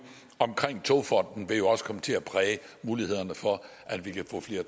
om togfonden dk også vil komme til at præge mulighederne for at vi kan få flere